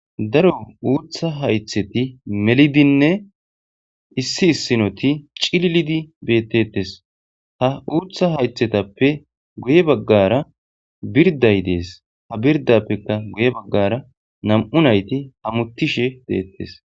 Darro utha hayithati melidinne issi issinoti cililidi betetesi, ha utha hayithetape guye baggara biridayi desi, ha biriddappe guye baggara namu'u nayiti hametishe detesi.